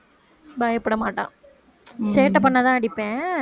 பயப்பட மாட்டான் சேட்டை பண்ணாதான் அடிப்பேன்